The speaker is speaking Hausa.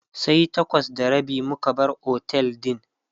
sai takwas da rabi muka bar otel din